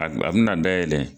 A be na dayɛlɛ